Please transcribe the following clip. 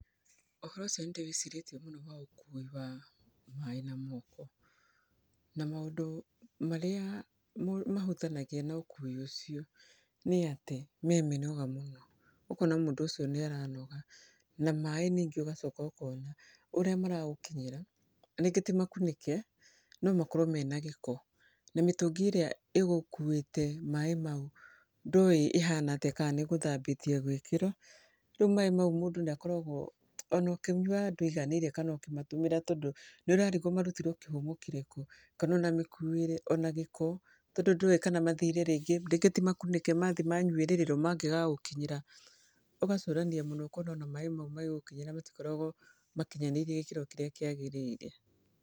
Ũhoro ũcio nĩndĩwĩciirĩtie mũno wa ũkui wa maaĩ na moko. Na maũndũ marĩa mahutanagia na ũkuui ũcio, nĩ atĩ me minoga mũno. Ũkona mũndũ ũcio nĩaranoga, na maaĩ ningĩ ũgacoka ũkona, ũrĩa maragũkinyĩra, ringĩ ti makunĩke, no makorwo mena gĩko. Na mĩtũgi ĩrĩa ĩgũkuĩte maaĩ mau, ndũũĩ ĩhaana atĩa kana nĩ ĩgũthambĩtio ĩgĩkĩrwo. Riũ maaĩ mau mũndũ nĩ akoragwo, ona ũkĩnywa ndũiganĩire kana ũkĩmatũmĩra tondũ nĩ ũrarigwo marutirwo kĩhumo kĩrĩku. Kana ona mĩkuĩre ona gĩko, tondũ ndũĩ kana mathĩre rĩngĩ, rĩngĩ timakunĩke, mathĩi manyuĩrĩrwo mangĩgagũkinyĩra. Ugacũrania mũno ũkona ona maaĩ mau magĩgũkinyĩra matikoragwo makinyanĩirie gĩkĩro kĩrĩa kĩagĩrĩire.